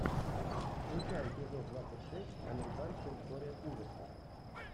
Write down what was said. включай эпизод двадцать шесть американская история ужасов